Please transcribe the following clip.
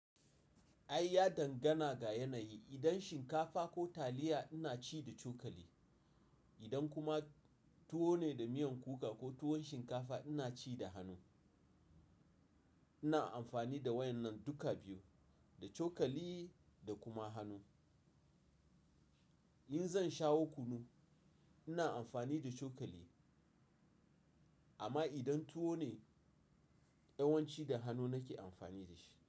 Ai ya dangana ga yanayi. Idan shinkafa ko taliya ina ci da cokali, idan kuma tuwo ne da miyan kuka ko tuwon shinkafa ina ci da hannu. Ina amfani da waɗannan duka biyu, da cokali da kuma hannu. In zan shawo kunu, ina amfani da cokali. Amma idan tuwo ne, yawanci da hannu nake amfani da shi.